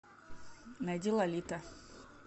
найди лолита